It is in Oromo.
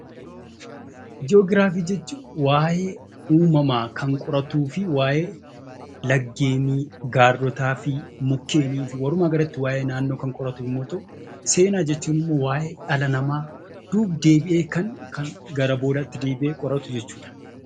Joogiraafi jechuun waa'ee uumamaa kan qoratuufi waa'ee laggeeni, gaarrotaafi mukkeeniifi walumaa galatti, waa'ee naannoo kan qoratu yammuu ta'u, seenaa jechuun ammoo waa'ee dhala namaa duub-deebi'ee kan gara boodaatti deebi'ee qoratu jechuudha.